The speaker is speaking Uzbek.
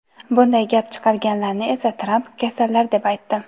Bunday gap chiqarganlarni esa Tramp "kasallar" deb aytdi.